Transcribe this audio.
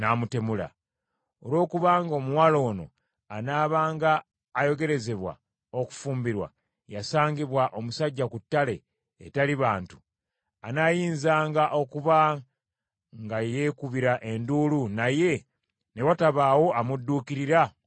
Olwokubanga omuwala ono anaabanga ayogerezebwa okufumbirwa yasangibwa omusajja ku ttale etali bantu, anaayinzanga okuba nga yeekubira enduulu naye ne watabaawo amudduukirira okumuyamba.